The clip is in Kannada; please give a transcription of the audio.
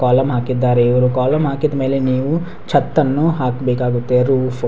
ಕಾಲಮ್ ಹಾಕಿದ್ದಾರೆ ಇವ್ರಿ ಕಾಲಮ್ ಹಾಕಿದ್ಮೇಲೆ ನೀವು ಚತ್ತನ್ನು ಹಾಕ್ಬೇಕಾಗುತ್ತೆ ರೂಫ .